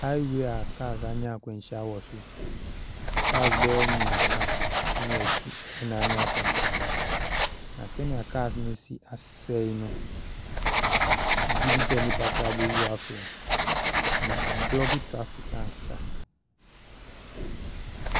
Highway a cars anya akwanhyia wɔ so, cars bɛyɛ mmeɛnsa ne akyire na anya akwanhyia no. Na Sɛdeɛ cars no asi asɛe no, megye di sɛ nnipa koraa bɛwu afam, na abolɔke traffic ankasa.